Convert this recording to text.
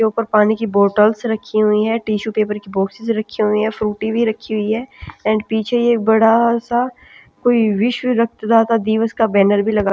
के ऊपर पानी की बोटल्स रखी हुई है टिशू पेपर की बॉक्सेस रखी हुई है फ्रूटी भी रखी हुई है एंड पीछे ये बड़ा सा-- कोई विश्व रक्तदाता दिवस का बैनर भी लगा--